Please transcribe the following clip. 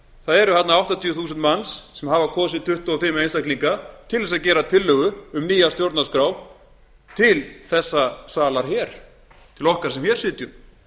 það eru þarna áttatíu þúsund manns sem hafa kosið tuttugu og fimm einstaklinga til að gera tillögu um nýja stjórnarskrá til þessa salar hér til okkar sem hér sitjum